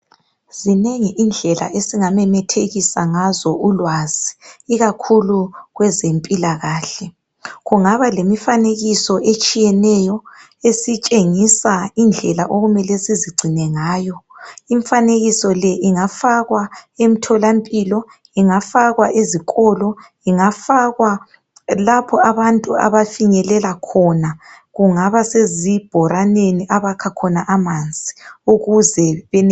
Zinengi indlela esingamemethekisa ngazo ulwazi ikakhulu kwezempilakahle. Kungaba lemifanekiso etshiyeneyo esitshengisa indlela okumele sizigcine ngayo. Imfanekiso le ingafakwa emtholampilo, ezikolo kumbe lapho abantu abafinyelela khona. Kungaba sezibhoraneni lapho abakha khona amanzi ukuze benelise ukuthola lolu ulwazi.